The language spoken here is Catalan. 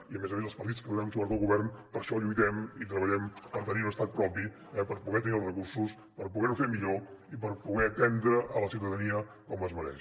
i a més a més els partits que donem suport al govern per això lluitem i treballem per tenir un estat propi per poder tenir els recursos per poder ho fer millor i per poder atendre la ciutadania com es mereix